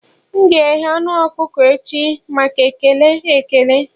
M ga-eghe anu ọkụkọ echi maka ekele ekele